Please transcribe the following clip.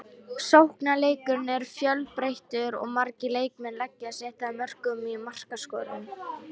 Sóknarleikurinn er fjölbreyttur og margir leikmenn leggja sitt að mörkum í markaskorun.